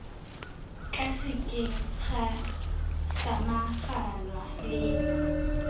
ka sekeng ga samaganwa le